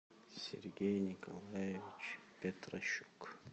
сергей николаевич петращук